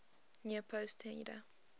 near post header